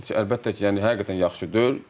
Əlbəttə ki, yəni həqiqətən yaxşı deyil.